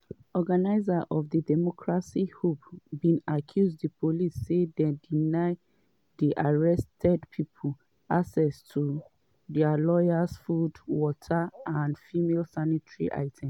organizers of democracy hub bin accuse di police say dey deny di arrested pipo access to dia lawyers food water and female sanitary items.